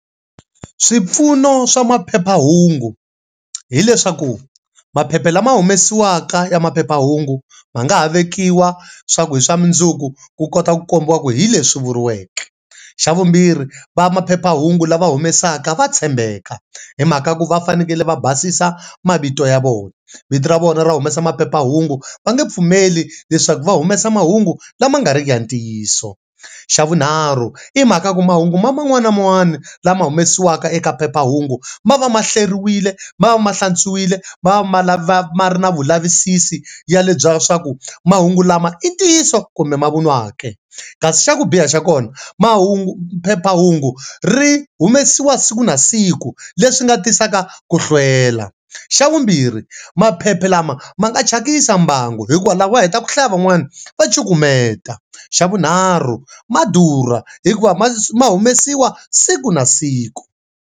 Swipfuno swa maphephahungu hileswaku maphepha lama humesiwaka ya maphephahungu ma nga ha vekiwa swa ku hi swa mundzuku ku kota ku kombisa ku hileswi vuriweke, xa vumbirhi va maphephahungu lava humesaka va tshembeka hi mhaka ku va fanekele va basisa mavito ya vona. Vito ra vona ra humesa maphephahungu va nge pfumeli leswaku va humesa mahungu lama nga riki ya ntiyiso, xa vunharhu i mhaka ku mahungu ya man'wani na man'wani lama humesiwaka eka phephahungu ma va mahleriwile ma va ma hlantswiwile ma ri na vulavisisi ya le bya swa ku mahungu lama i ntiyiso kumbe mavunwa ke, kasi xa ku biha xa kona mahungu phephahungu ri humesiwa siku na siku leswi nga tisaka ku hlwela, xa vumbirhi maphepha lama ma nga thyakisa mbangu hi ku loko va heta ku hlaya van'wani va cukumeta, xa vunharhu ma durha hikuva ma ma humesiwa siku na siku.